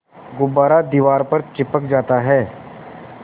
गुब्बारा दीवार पर चिपक जाता है